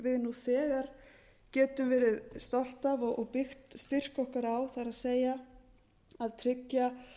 þetta er eitthvað sem á nú þegar getum verið stolt af og byggt styrk okkar á það er að tryggja